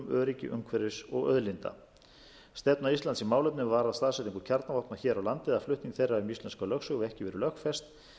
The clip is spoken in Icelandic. öryggi umhverfis og auðlinda stefna íslands í málefnum er varða staðsetningu kjarnavopna hér á landi eða flutning þeirra um íslenska lögsögu hefur ekki verið lögfest